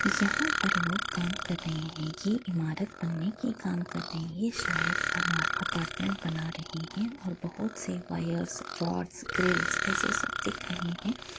यहाँ पर लोग काम कर रहे हैं। ये इमारत बनने के काम कर रहे हैं। ये शायद अपार्टमेंट बना रहे हैं और बोहोत से वायर्स रॉड्स ग्रील्स ऐसे सब दिख रहे हैं।